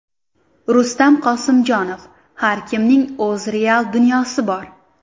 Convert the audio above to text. Rustam Qosimjonov: Har kimning o‘z real dunyosi bor.